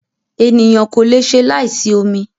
Ènìyàn kò lè ṣe láì sí omi.